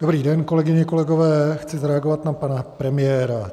Dobrý den, kolegyně, kolegové, chci zareagovat na pana premiéra.